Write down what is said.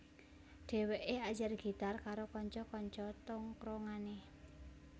Dhewekè ajar gitar karo kanca kanca tongkronganè